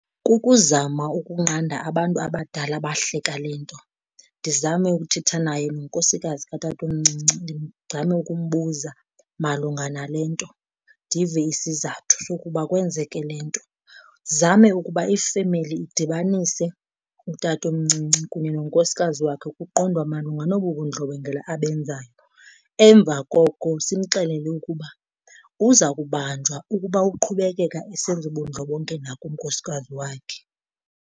Kukuzama ukunqanda abantu abadala abahleka le nto, ndizame ukuthetha naye nonkosikazi katatomncinci ndizame ukumbuza malunga nale, nto ndive isizathu sokuba kwenzeke le nto. Ndizame ukuba ifemeli idibanise utatomncinci kunye nonkosikazi wakhe kuqondwa malunga nobu bundlobongela abenzayo, emva koko simxelele ukuba uza kubanjwa ukuba uqhubekeka esenza ubundlobongela kunkosikazi wakhe.